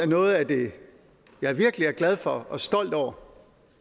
noget af det jeg virkelig er glad for og stolt over